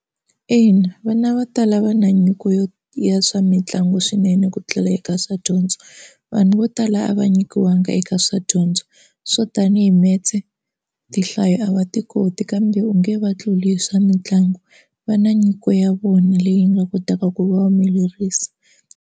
Ina vana vo tala va na nyiko yo ya swa mitlangu swinene ku tlula eka swa dyondzo. Vanhu vo tala a va nyikiwanga eka swa dyondzo swo tanihi metse tinhlayo a va ti koti kambe u nge va tluli hi swa mitlangu va na nyiko ya vona leyi nga kotaka ku va humelerisa.